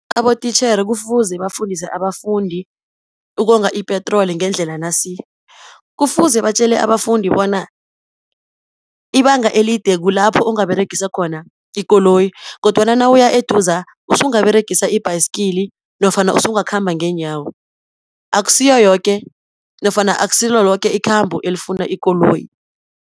Abotitjhere kufuze bafundise abafundi ukonga ipetroli ngendlela nasi, kufuze batjele abafundi bona ibanga elide kulapho ungaberegisa khona ikoloyi, kodwana nawuya eduza, usungaberegisa ibhayisikili, nofana ungakhamba ngeenyawo, akusiyoyoke nofana akusilo loke ikhambo elifuna ikoloyi.